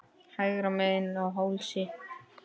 Hægra megin á hálsi.